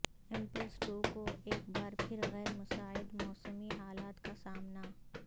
impulse two کو ایک بار پھر غیر مساعد موسمی حالات کا سامنا